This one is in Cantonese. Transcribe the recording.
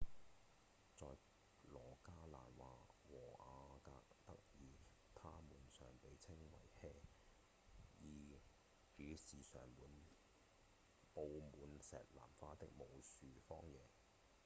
在羅加蘭和阿格德爾它們常被稱為「hei」意指常佈滿石南花的無樹荒野